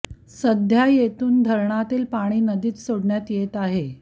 सध्या येथून धरणातील पाणी नदीत सोडण्यात येत आहे